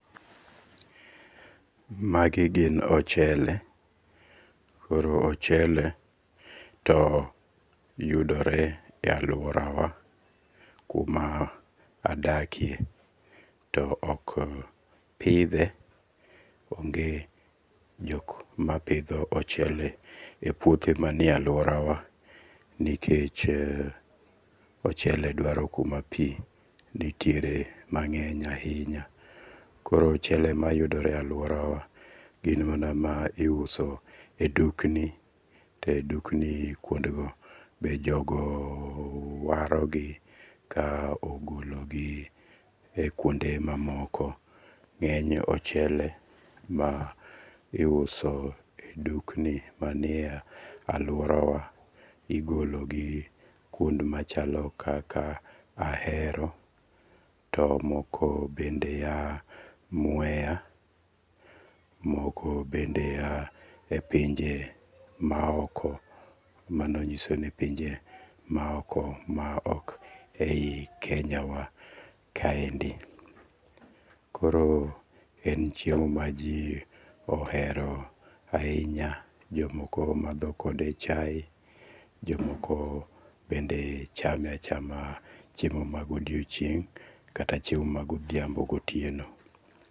Magi gin ochele. Koro ochele to yudore e alauora wa kuma adakie. To ok pidhe, onge jok mapidho ochele e puoothe manie aluora wa nikech ochele dwaro kuma pi nitiere mang'eny ahinya. Koro ochele mayudore e aluora wa gin mana ma iuso e dukni. Edukni kuonde go be jogo waro gi ka ogologi e kuonde mamoko. Ng'eny ochele ma iuso e dukni manie aluora wa igologi kuond machalo kaka Ahero to moko bende a Mwea. Moko bende a e pinje ma oko mano nyiso ni pinje ma oko ma ok e yi Kenya wa kaendi. Koro en chiemo ma ji ohero ahinya. Jomoko madho kode chae. Jomooko bende chame achama chiemo ma godiochieng' kata chiemo ma godhiambo gotieno.